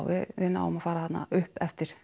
við náum að fara þarna upp eftir